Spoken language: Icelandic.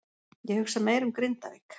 Ég hugsa meira um Grindavík.